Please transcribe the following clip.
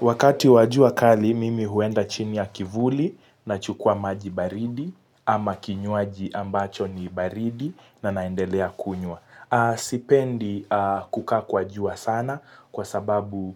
Wakati wa jua kali, mimi huenda chini ya kivuli nachukua maji baridi ama kinywaji ambacho ni baridi na naendelea kunywa. Sipendi kukaa kwa jua sana kwasababu